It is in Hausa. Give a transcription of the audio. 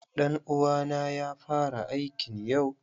Ɗan uwa na ya fara aikn yau.